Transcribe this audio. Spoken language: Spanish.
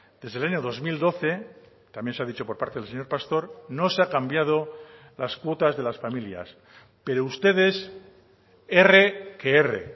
desde el año dos mil doce también se ha dicho por parte del señor pastor no se ha cambiado las cuotas de las familias pero ustedes erre que erre